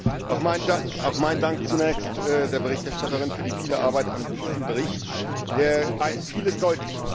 Herr Präsident! Auch meinen Dank zunächst der Berichterstatterin für die viele Arbeit an diesem Bericht, der vieles deutlich macht!